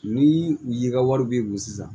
Ni u ye ka wari bi don sisan